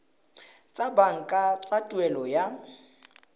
tsa banka tsa tuelo ya